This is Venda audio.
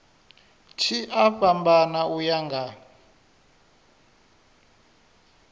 tshi a fhambana uya nga